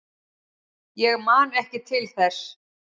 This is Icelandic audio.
Ég man ekki til þess.